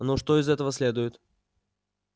ну что из этого следует